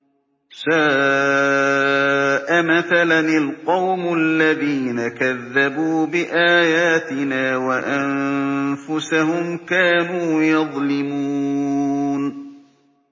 سَاءَ مَثَلًا الْقَوْمُ الَّذِينَ كَذَّبُوا بِآيَاتِنَا وَأَنفُسَهُمْ كَانُوا يَظْلِمُونَ